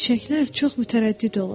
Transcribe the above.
Çiçəklər çox mütərəddid olur.